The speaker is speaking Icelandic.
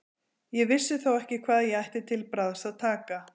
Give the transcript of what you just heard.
Ég vissi þó ekki hvað ég ætti til bragðs að taka.